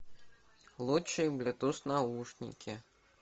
лучшие блютуз наушники